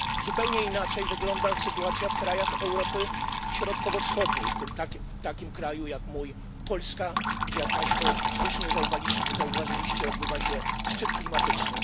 Zupełnie inaczej wygląda sytuacja w krajach Europy Środkowo Wschodniej, w takim kraju jak mój, Polska, gdzie jak państwo słusznie zauważyliście, odbywa się szczyt klimatyczny.